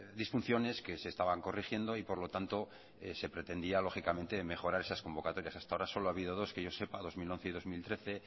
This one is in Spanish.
disfunciones que se estaban corrigiendo y por lo tanto se pretendía lógicamente mejorar esas convocatorias hasta ahora solo ha habido dos que yo sepa dos mil once y dos mil trece